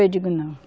Eu digo, não.